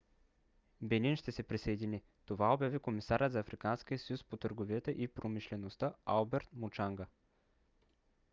бенин ще се присъедини. това обяви комисарят на африканския съюз по търговията и промишлеността алберт мучанга